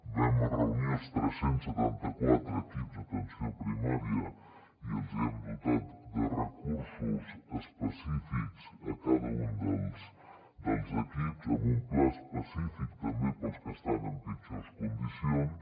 vam reunir els tres cents i setanta quatre equips d’atenció primària i els hem dotat de recursos específics a cada un dels equips amb un pla específic també per als que estan en pitjors condicions